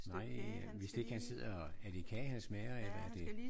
Nej hvis ikke han sidder er det kage han smager eller er det?